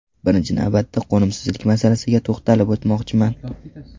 Birinchi navbatda qo‘nimsizlik masalasiga to‘xtalib o‘tmoqchiman.